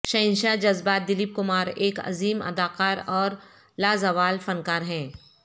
شہنشاہ جذبات دلیپ کمار ایک عظیم اداکار اور لازوال فنکار ہیں